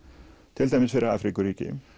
til dæmis fyrir Afríkuríki